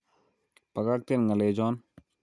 Bakakten nga'lechon